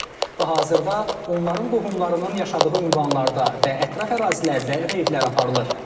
Və hazırda onların qohumlarının yaşadığı ünvanlarda və ətraf ərazilərdə reydlər aparılır.